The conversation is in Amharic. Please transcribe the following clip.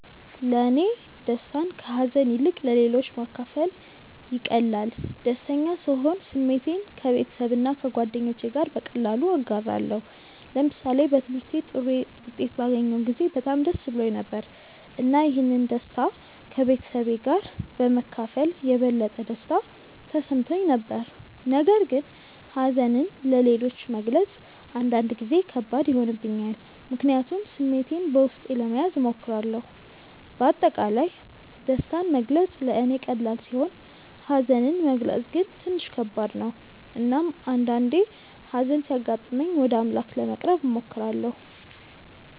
ለእኔ ደስታን ከሀዘን ይልቅ ለሌሎች ማካፈል ይቀላል። ደስተኛ ስሆን ስሜቴን ከቤተሰብና ከጓደኞቼ ጋር በቀላሉ እጋራለሁ። ለምሳሌ በትምህርቴ ጥሩ ውጤት ባገኘሁ ጊዜ በጣም ደስ ብሎኝ ነበር፣ እና ይህን ደስታ ከቤተሰቤ ጋር በመካፈል የበለጠ ደስታ ተሰምቶኝ ነበር። ነገር ግን ሀዘንን ለሌሎች መግለጽ አንዳንድ ጊዜ ከባድ ይሆንብኛል፣ ምክንያቱም ስሜቴን በውስጤ ለመያዝ እሞክራለሁ። በአጠቃላይ ደስታን መግለጽ ለእኔ ቀላል ሲሆን ሀዘንን መግለጽ ግን ትንሽ ከባድ ነው። እናም አንዳአንዴ ሀዘን ሲያጋጥመኝ ወደ አምላክ ለመቅረብ እሞክራለሁ።